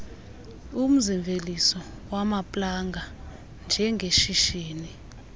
umzimveliso wamaplanga njengeshishini